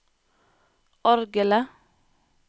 orgelet